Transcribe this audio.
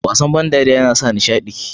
wasan ban dariya na sa nishadi sosai